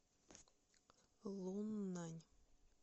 луннань